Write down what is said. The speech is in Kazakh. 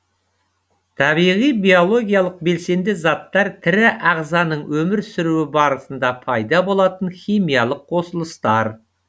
табиғи биологиялық белсенді заттар тірі ағзаның өмір сүруі барысында пайда болатын химиялық қосылыстар